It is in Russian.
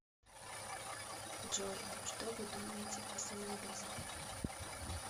джой что вы думаете о самоубийстве